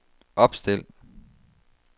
opstil